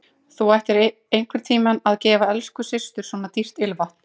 Þú ættir einhvern tíma að gefa elsku systur svona dýrt ilmvatn.